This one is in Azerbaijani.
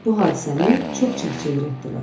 Bu hadisəni çox çək-çevir etdilər.